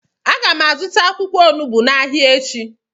Agam azuta akwukwo onugbu n'Ahia echi.